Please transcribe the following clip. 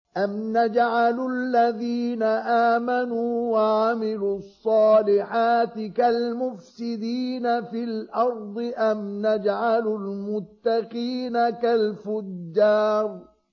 أَمْ نَجْعَلُ الَّذِينَ آمَنُوا وَعَمِلُوا الصَّالِحَاتِ كَالْمُفْسِدِينَ فِي الْأَرْضِ أَمْ نَجْعَلُ الْمُتَّقِينَ كَالْفُجَّارِ